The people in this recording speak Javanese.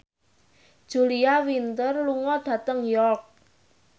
Julia Winter lunga dhateng York